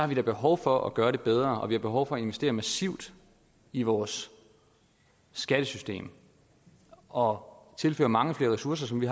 vi da behov for at gøre det bedre og vi har behov for at investere massivt i vores skattesystem og tilføre mange ressourcer som vi